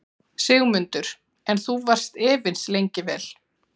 Sigmundur: En þú varst efins lengi vel?